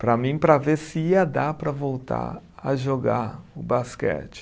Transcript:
Para mim, para ver se ia dar para voltar a jogar o basquete.